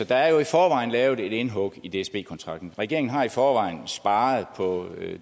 der er jo i forvejen lavet et indhug i dsb kontrakten regeringen har i forvejen sparet på